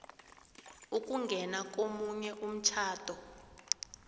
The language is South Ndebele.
ukungena komunye umtjhado